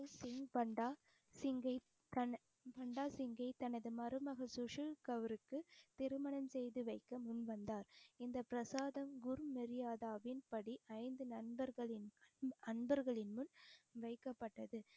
பாண்ட சிங்கை தன~ பாண்ட சிங்கை தனது மருமக திருமணம் செய்து வைக்க முன்வந்தார். இந்த பிரசாதம் குருமரியாதாவின் படி ஐந்து நண்பர்களின் அன்பர்களின் முன் வைக்கப்பட்டது